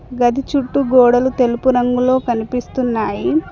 గది చుట్టూ గోడలు తెలుపు రంగులో కనిపిస్తున్నాయి.